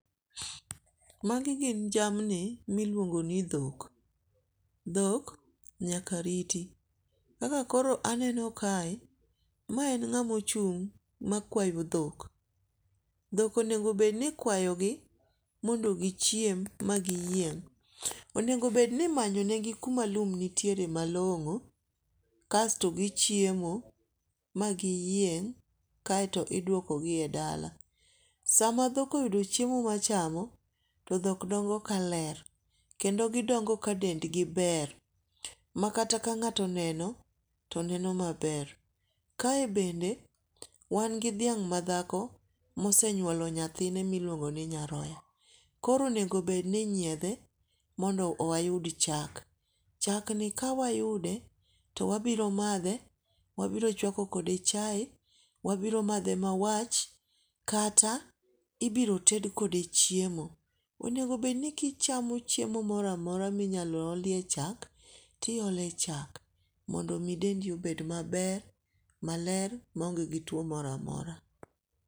Magi gin jamni miluongo ni dhok. Dhok nyaka riti. Kaka koro aneno kae, ma en ng'ama ochung' ma kwayo dhok. Dhok onego bed ni ikwayo gi mondo gichiem ma giyieng'. Onego bed ni imanyo ne gi kuma lum nitiere malong'o kasto gichiemo magiyieng' kaeto iduoko gi e dala. Sama dhok oyudo chiemo machamo to dhok dongo kaler kendo gidongo ka dendgi ber. Makata ka ng'ato oneno to neno maber. Kae bende wan gi dhiang' madhako mosenyuolo nyathine miluongo ni nyaroya. Koro onego bed ni inyiedhe mondo wayud chak. Chak ni kawayude to wabiro madhe, wabiro chwako kode chae. Wabiro madhe ma wach. Kata ibiro ted kode chiemo. Onego bed ni kichamo chiemo moro amoro minyalo olie chak ti ole chak mondo min dendi obed mabel, maler, ma onge gi tuo moro amora.